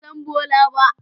Ban san Bola ba.